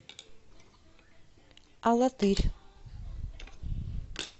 алатырь